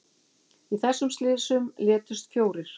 Í þessum slysum létust fjórir